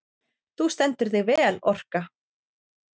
Þú stendur þig vel, Orka!